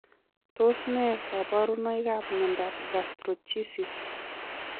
Tos ne kaborunoikap miondop Gastroschisis